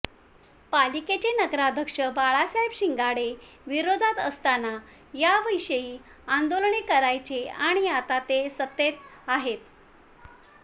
पालिकेचे नगराध्यक्ष बाळासाहेब शिंगाडे विरोधात असताना याविषयी आंदोलने करायचे आणि आता तर ते सत्तेत आहेत